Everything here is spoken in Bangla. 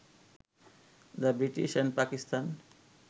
the British and Pakistan